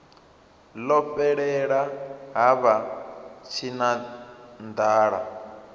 ḽo fhelela ha vha tshinanḓala